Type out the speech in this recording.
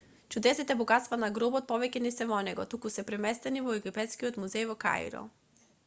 чудесните богатства на гробот повеќе не се во него туку се преместени во египетскиот музеј во каиро